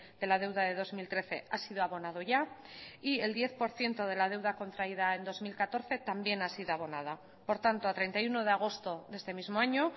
de la deuda de dos mil trece ha sido abonado ya y el diez por ciento de la deuda contraída en dos mil catorce también ha sido abonada por tanto a treinta y uno de agosto de este mismo año